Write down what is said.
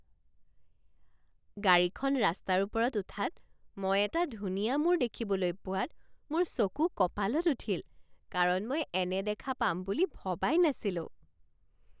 গাড়ীখন ৰাস্তাৰ ওপৰত উঠাত মই এটা ধুনীয়া মূৰ দেখিবলৈ পোৱাত মোৰ চকু কঁপালত উঠিল, কাৰণ মই এনে দেখা পাম বুলি ভবাই নাছিলো।